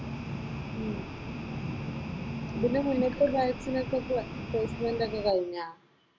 ഉം ഇതിന് മുന്നത്തെ ബാച്ചിനോക്കെ പ്ലേസ്മെന്റ് ഒക്കെ കഴിഞ്ഞോ?